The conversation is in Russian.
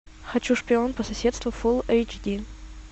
хочу шпион по соседству фулл эйч ди